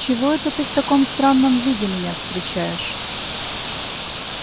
чего это ты в таком странном виде меня встречаешь